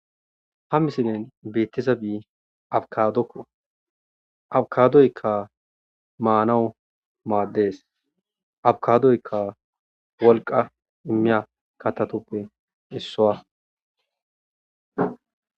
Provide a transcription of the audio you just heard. Ha misilen betiza bii abkadokko abkadoyka manawu maaddees abkadoykka wolqa immiya katatuppe issowa.